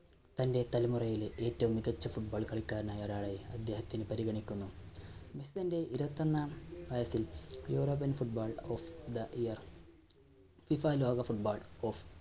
തന്റെ തലമുറയിലെ ഏറ്റവും മികച്ച football കളിക്കാരനായി ഒരാളായി അദ്ദേഹത്തിനെ പരിഗണിക്കുന്നു. മെസ്സി തന്റെ ഇരുപത്തൊന്നാം വയസ്സിൽ european football of the year FIFA ലോക football of